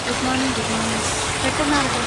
good മോണിങ് good മോണിങ്; പെട്ടെന്നാവട്ടെ